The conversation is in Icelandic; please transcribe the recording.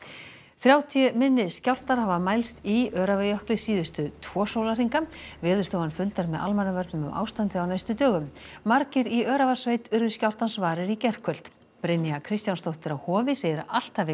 þrjátíu minni skjálftar hafa mælst í Öræfajökli síðustu tvo sólarhringa Veðurstofan fundar með almannavörnum um ástandið á næstu dögum margir í Öræfasveit urðu skjálftans varir í gærkvöld Brynja Kristjánsdóttir á Hofi segir að allt hafi